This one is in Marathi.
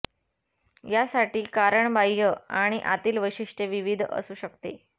या साठी कारण बाहय आणि आतील वैशिष्ट्ये विविध असू शकते